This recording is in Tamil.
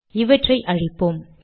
இவற்றை அழிப்போம்